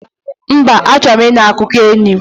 Mba, achọrọ m ịnụ akụkọ enyi